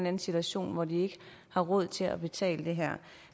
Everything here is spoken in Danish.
anden situation hvor de ikke har råd til at betale det her